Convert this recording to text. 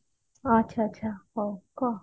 ଆଛା ଆଛା ହଉ କଃ